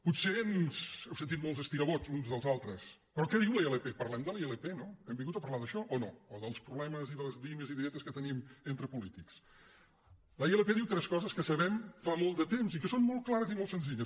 potser heu sentit molts estirabots d’uns i dels altres però què diu la ilp parlem de la ilp no hem vin·gut a parlar d’això o no o dels problemes i dels dimes y diretes que tenim entre polítics la ilp diu tres coses que sabem fa molt de temps i que són molt clares i molt senzilles